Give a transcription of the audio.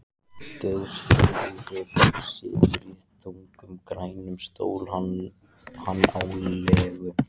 Geirþrúður situr í þungum, grænum stól, hann á legu